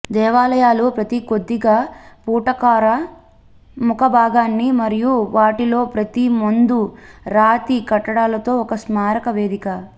దేవాలయాలు ప్రతి కొద్దిగా పుటాకార ముఖభాగాన్ని మరియు వాటిలో ప్రతి ముందు రాతి కట్టడాలతో ఒక స్మారక వేదిక